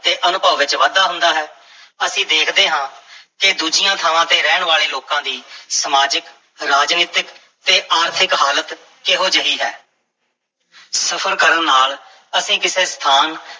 ਤੇ ਅਨੁਭਵ ਵਿੱਚ ਵਾਧਾ ਹੁੰਦਾ ਹੈ ਅਸੀਂ ਦੇਖਦੇ ਹਾਂ ਕਿ ਦੂਜੀਆਂ ਥਾਵਾਂ ਤੇ ਰਹਿਣ ਵਾਲੇ ਲੋਕਾਂ ਦੀ ਸਮਾਜਿਕ, ਰਾਜਨੀਤਕ ਤੇ ਆਰਥਿਕ ਹਾਲਤ ਕਿਹੋ ਜਿਹੀ ਹੈ ਸਫ਼ਰ ਕਰਨ ਨਾਲ ਅਸੀਂ ਕਿਸੇ ਸਥਾਨ